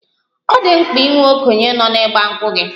Ọ dị mkpa inwe okenye nọ na 'Igba nkwu' gị?